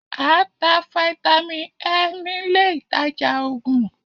A ń tá Fáítámì Ẹ nílé ìtajà Ògùn